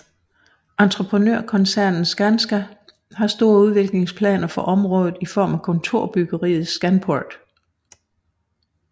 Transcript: Entreprenørkoncernen Skanska har store udviklingsplaner for området i form af kontorbyggeriet Scanport